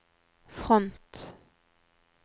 front